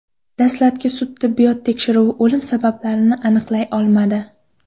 Dastlabki sud-tibbiyot tekshiruvi o‘lim sabablarini aniqlay olmadi.